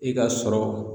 I ka sɔrɔ